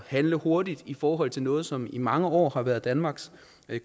handle hurtigt i forhold til noget som i mange år har været danmarks